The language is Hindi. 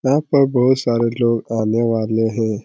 यहाँ पर बहुत सारे लोग आने वाले हैं।